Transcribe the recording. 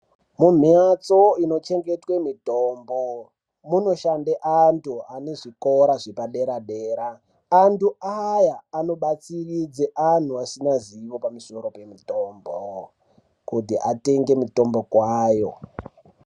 Mumbatso inochengetwa mitombo munoshanda antu ane zvikora zvepadera dera antu aya anobatsiridza antu asina Kunorapa mitombo kuti atenge mitombo kwayo.